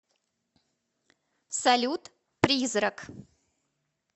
салют призрак